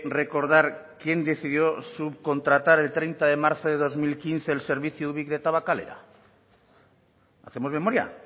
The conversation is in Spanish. recordar quién decidió subcontratar el treinta de marzo de dos mil quince el servicio ubik de tabakalera hacemos memoria